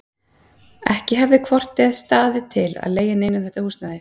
Ekki hefði hvort eð var staðið til að leigja neinum þetta húsnæði.